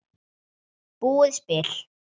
búið spil.